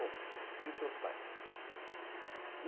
Bom, e os seus pais?